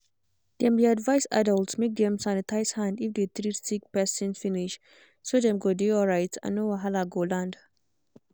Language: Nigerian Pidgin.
dem dey advise adults make dem sanitize hand if they treat sick person finish so dem go dey alright and no wahala go land.